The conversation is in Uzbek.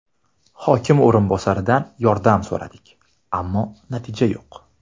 Hokim o‘rinbosaridan yordam so‘radik, ammo natija yo‘q.